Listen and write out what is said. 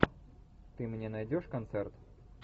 ты мне найдешь концерт